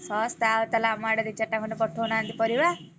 ଶସ୍ତା ଆଉ ତାହେଲେ ଆମ ଆଡେ ଦି ଚାରିଟା ଖଣ୍ଡେ ପଠଉ ନାହାନ୍ତି ପରିବା।